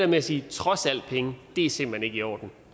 med at sige trods alt penge er simpelt hen ikke i orden